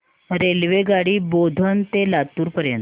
रेल्वेगाडी बोधन ते लातूर पर्यंत